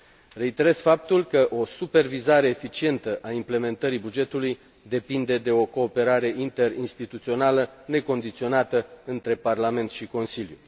Reiterez faptul că o supervizare eficientă a executării bugetului depinde de o cooperare interinstituțională necondiționată între Parlament și Consiliu.